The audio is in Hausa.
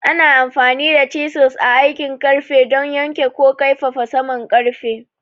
Ana amfani da chisels a aikin ƙarfe don yanke ko kaifafa saman ƙarfe.